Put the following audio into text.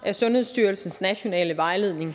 af sundhedsstyrelsens nationale vejledning